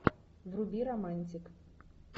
вруби романтик